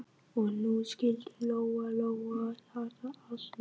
Og nú skildi Lóa-Lóa þetta allt líka.